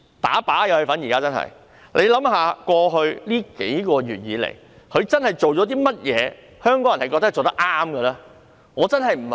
大家試想，過去數月以來，她真正做了甚麼是香港人覺得她做得對的呢？